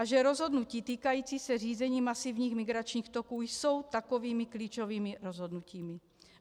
A že rozhodnutí týkající se řízení masivních migračních toků jsou takovými klíčovými rozhodnutími.